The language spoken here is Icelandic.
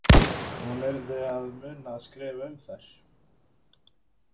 Hún yrði að muna að skrifa um þær.